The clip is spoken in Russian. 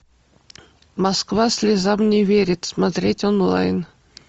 москва слезам не верит смотреть онлайн